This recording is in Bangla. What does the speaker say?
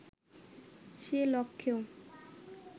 সে লক্ষ্যেও